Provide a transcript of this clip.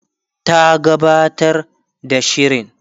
ta gabatar da shirin